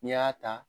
N'i y'a ta